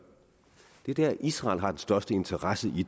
er det israel har den største interesse i